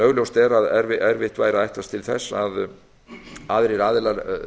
augljóst er að erfitt væri að ætlast til þess að aðrir aðilar